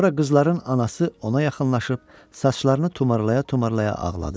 Sonra qızların anası ona yaxınlaşıb saçlarını tumarlaya-tumarlaya ağladı.